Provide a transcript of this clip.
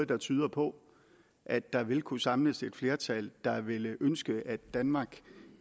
der tyder på at der vil kunne samles et flertal der ville ønske at danmark